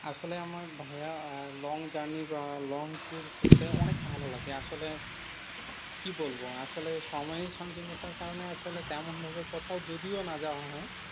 আসলে আমার ভাইয়া আহ long journey বা long tour করতে অনেক ভালো লাগে আসলে কী বলবো আসলে সময়ের সঙ্কীর্ণতার কারনে আসলে তেমনভাবে কোথাও যদিও না যাওয়া হয়,